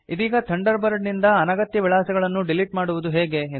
ಇದೀಗ Thunderbird ನಿಂದ ಅನಗತ್ಯ ವಿಳಾಸಗಳನ್ನು ಡಿಲೀಟ್ ಮಾಡುವುದು ಹೇಗೆ